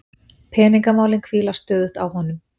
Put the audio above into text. Peningamálin hvíla stöðugt á honum.